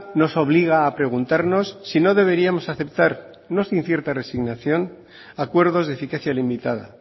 nos obliga a preguntarnos si no deberíamos aceptar no sin cierto resignación acuerdos de eficacia limitada